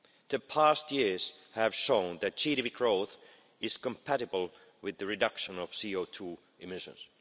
The past years have shown that GDP growth is compatible with the reduction of CO2 emissions.